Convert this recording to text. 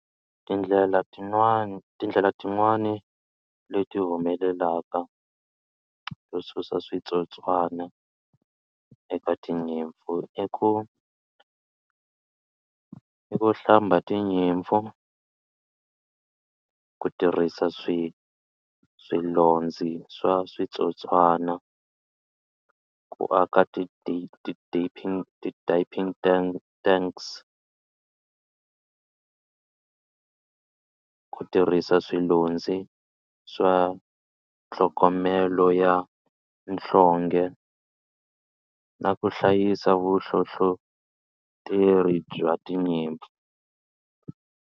Tindlela tinwani tindlela tin'wani leti humelelaka to susa switsotswana eka tinyimpfu i ku i ku hlamba tinyimpfu ku tirhisa swi swilondzi swa switsotswana ku aka tanks ku tirhisa swilondzi swa tlhogomela ya nhlonge na ku hlayisa vuhlohloteri bya tinyimpfu.